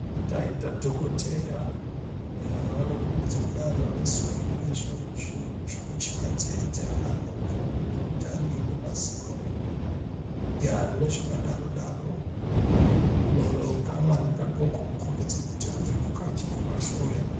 Taita dhokodheya ,eya vanokhombidze kudaro vakasungirire zvinhu zvokucheka ndizvo nzeye dzeana adoko, ngemundani, nemazino yaaa nezvakadaro-daro nekamwana kadoko kukhombidze kuti abve kuka kukahloya.